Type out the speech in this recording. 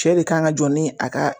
Cɛ de kan ka jɔ ni a ka